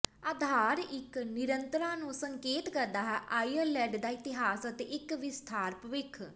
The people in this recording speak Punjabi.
ਆਧਾਰ ਇੱਕ ਨਿਰੰਤਰਤਾ ਨੂੰ ਸੰਕੇਤ ਕਰਦਾ ਹੈ ਆਇਰਲਡ ਦਾ ਇਤਿਹਾਸ ਅਤੇ ਇੱਕ ਵਿਸਥਾਰ ਭਵਿੱਖ